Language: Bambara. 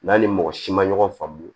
N'an ni mɔgɔ si ma ɲɔgɔn faamu